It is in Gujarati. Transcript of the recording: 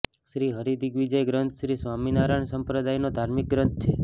શ્રી હરિ દિગ્વિજય ગ્રંથ શ્રી સ્વામિનારાયણ સંપ્રદાયનો ધાર્મિક ગ્રંથ છે